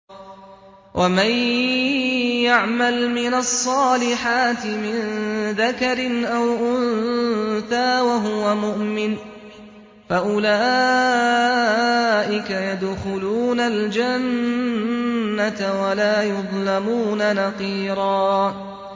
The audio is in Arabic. وَمَن يَعْمَلْ مِنَ الصَّالِحَاتِ مِن ذَكَرٍ أَوْ أُنثَىٰ وَهُوَ مُؤْمِنٌ فَأُولَٰئِكَ يَدْخُلُونَ الْجَنَّةَ وَلَا يُظْلَمُونَ نَقِيرًا